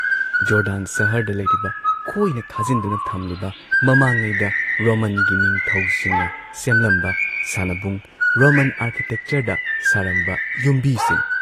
Jordan ꯁꯍꯔꯗ ꯂꯩꯔꯤꯕ ꯀꯣꯏꯅ ꯈꯥꯖꯤꯟꯗꯨꯅ ꯊꯝꯂꯤꯕ ꯃꯃꯥꯡꯉꯩꯗ ꯔꯣꯃꯟꯒꯤ ꯅꯤꯡꯊꯧꯁꯤꯡꯅ ꯁꯦꯝꯂꯝꯕ ꯁꯥꯟꯅꯕꯨꯡ, ꯔꯣꯃꯟ ꯑꯥꯔꯀꯤꯇꯦꯛꯆꯔꯗ ꯁꯥꯔꯝꯕ ꯌꯨꯝꯕꯤꯁꯤꯡ